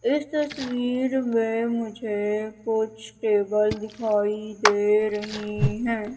इस तस्वीर में मुझे कुछ टेबल दिखाई दे रही हैं।